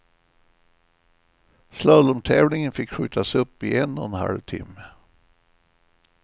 Slalomtävlingen fick skjutas upp i en och en halv timme.